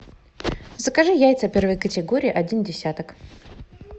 закажи яйца первой категории один десяток